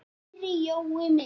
Kæri Jói minn.